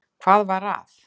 Hvað var að?